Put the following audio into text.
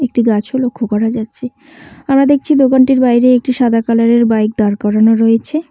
একটি গাছও লক্ষ করা যাচ্ছে আমরা দেখছি দোকানটির বাইরে একটি সাদা কালারের বাইক দাঁড় করানো রয়েছে।